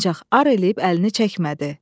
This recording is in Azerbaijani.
Ancaq ar eləyib əlini çəkmədi.